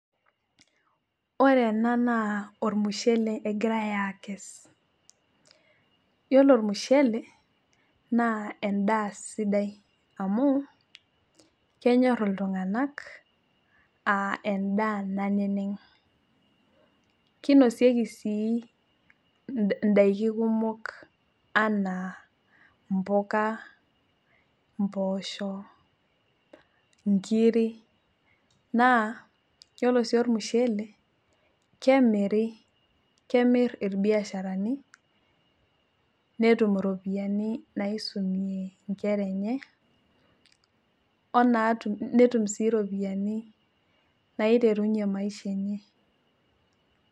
Ore ena naa ormushele egirai akes. Yiolo ormushele, naa endaa sidai amu, kenyor iltung'anak, ah endaa naneneng'. Kinosieki si daiki kumok anaa, impuka, impoosho, inkiri, naa, yiolo si ormushele, kemiri, kemir irbiasharani, netum iropiyiani naisumie inkera enye, onaatum netum si ropiyiani naiterunye maisha enye.